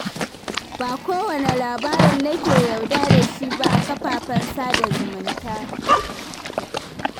Ba kowane labarin nake yarda da shi ba a kafafen sada zumunta.